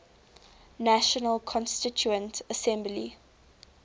national constituent assembly